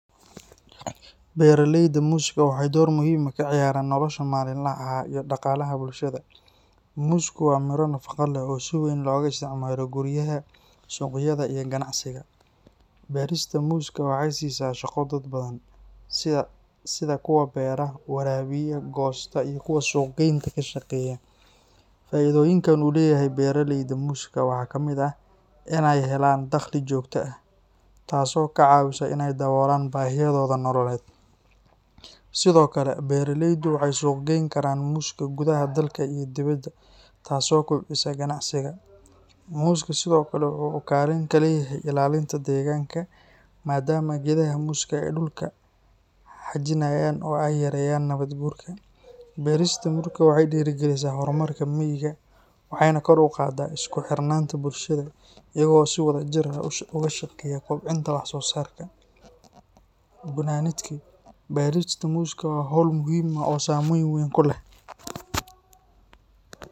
Beeralayda muuska waxay door muhiim ah ka ciyaaraan nolosha maalinlaha ah iyo dhaqaalaha bulshada. Muusku waa midho nafaqo leh oo si weyn looga isticmaalo guryaha, suuqyada, iyo ganacsiga. Beerista muuska waxay siisaa shaqo dad badan, sida kuwa beera, waraabiya, goosta, iyo kuwa suuq geynta ka shaqeeya. Faa’iidooyinka uu leeyahay beeraleyda muuska waxaa ka mid ah inay helaan dakhli joogto ah, taasoo ka caawisa inay daboolaan baahiyahooda nololeed. Sidoo kale, beeraleydu waxay suuq geyn karaan muuska gudaha dalka iyo dibedda, taas oo kobcisa ganacsiga. Muuska sidoo kale waxa uu kaalin ku leeyahay ilaalinta deegaanka, maadaama geedaha muuska ay dhulka xajinayaan oo ay yareeyaan nabaad guurka. Beerista muuska waxay dhiirrigelisaa horumarka miyiga, waxayna kor u qaadaa isku xirnaanta bulshada iyagoo si wadajir ah uga shaqeeya kobcinta wax soo saarka. Gunaanadkii, beerista muuska waa hawl muhiim ah oo saameyn weyn ku leh